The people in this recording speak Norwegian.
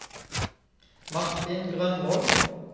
Martin Grønvold